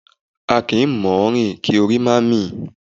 A kì í mọ ọn rìn kí orí má mì